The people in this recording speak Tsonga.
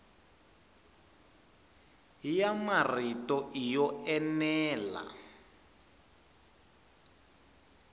ya marito i yo enela